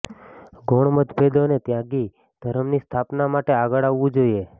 ગૌણ મતભેદોને ત્યાગી ધર્મની સ્થાપના માટે આગળ આવવું જોઈએ